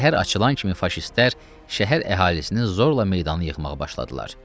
Səhər açılan kimi faşistlər şəhər əhalisini zorla meydana yığmağa başladılar.